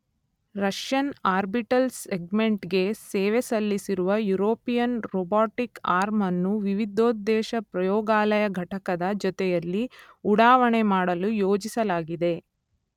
Russian orbital segment ಗೆ ಸೇವೆಸಲ್ಲಿಸಿರುವ European robotic arm ಅನ್ನು ವಿವಿಧೋದ್ದೇಶ ಪ್ರಯೋಗಾಲಯ ಘಟಕದ ಜೊತೆಯಲ್ಲಿ ಉಡಾವಣೆ ಮಾಡಲು ಯೋಜಿಸಲಾಗಿದೆ.